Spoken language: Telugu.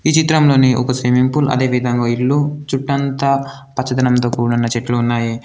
ఈ చిత్రంలోని ఒక స్విమ్మింగ్ పూల్ అదేవిధంగా ఓ ఇల్లు చుట్టంతా పచ్చదనంతో కూడిన చెట్లు ఉన్నాయి.